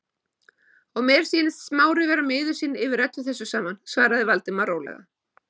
Og mér sýnist Smári vera miður sín yfir þessu öllu saman- svaraði Valdimar rólega.